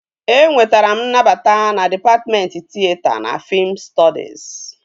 Enwetara m nnabata na dịpatmentị tịyeta na fiim stọdis